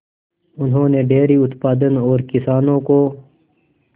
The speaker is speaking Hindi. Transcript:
उन्होंने डेयरी उत्पादन और किसानों को